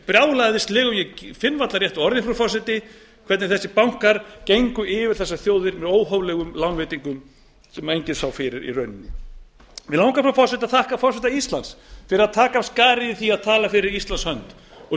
brjálæðislegu ég finn varla rétta orðið frú forseti hvernig þessir bankar gengu yfir þessar þjóðir með óhóflegum lánveitingum sem enginn sá fyrir í rauninni mig langar frú forseti að þakka forseta íslands fyrir að taka af skarið í því að tala fyrir íslands hönd og